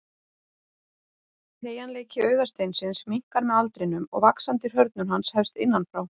Teygjanleiki augasteinsins minnkar með aldrinum og vaxandi hrörnun hans hefst innan frá.